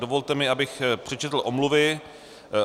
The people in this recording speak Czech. Dovolte mi, abych přečetl omluvy.